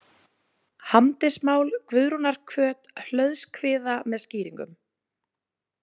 Hamdismál, Guðrúnarhvöt, Hlöðskviða með skýringum.